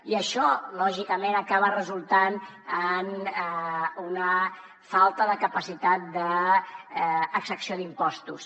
i d’això lògicament n’acaba resultant una falta de capacitat d’exempció d’impostos